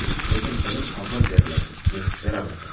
Lekin bilim avval beriladi, keyin so‘raladi.